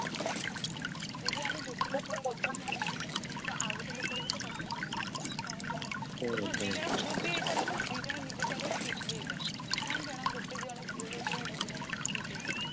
ଯଦି ଆମେ ଗୋଟେ ଲୋକର କଥା ଶୁଣୁଛୁ ତ ଆଉ ଗୋଟେ ଲୋକର କଥା ସୁଣିବା କଥା ନା କଣ ଜଣା ହଁ ଦିଜଣ ଭୁଲବି ହେଇ ପାରନ୍ତି ଦିଜଣ ନିଜ ଜାଗାରେ ଠିକବି ହେଇ ପାରନ୍ତି କଣ ଜଣ ଗୋଟେ ଜଣା ଭୁଲବି ହେଇ ପରେ ଗୋଟେ ଜଣଠିକ ବି ହେଇ ପାରିବ